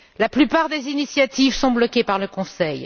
La plupart des initiatives sont bloquées par le Conseil.